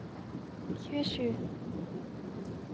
tjuesju